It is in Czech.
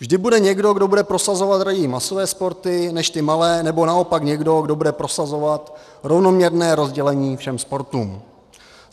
Vždy bude někdo, kdo bude prosazovat raději masové sporty než ty malé, nebo naopak někdo, kdo bude prosazovat rovnoměrné rozdělení všem sportům.